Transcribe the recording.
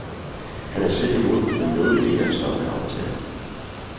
Han selv var imod, men nåede ikke at stoppe aftalen.